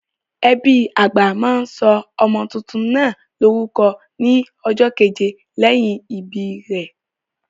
Ẹbí àgbà máa sọ ọmọ tuntun náà lórúkọ ní ọjọ́ keje lẹ́yìn ìbí rẹ̀.